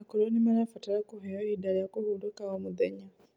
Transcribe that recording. Akũrũ nimarabatara kũheo ihinda rĩa kũhũrũka o mũthenya